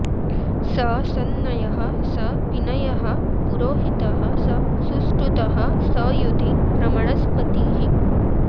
स संनयः स विनयः पुरोहितः स सुष्टुतः स युधि ब्रह्मणस्पतिः